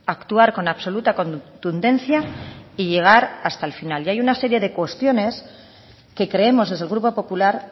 actuar con absoluta contundencia y llegar hasta el final y hay una serie de cuestiones que creemos desde el grupo popular